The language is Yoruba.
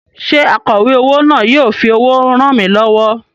Ṣé akọ̀wé owó náà yóò fi owó ràn mí lọ́wọ́?